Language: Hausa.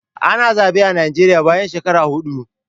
Ana zaɓe a Najeriya bayan shekaru huɗu